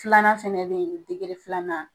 Filanan fɛnɛ bɛ ye nɔ filanan.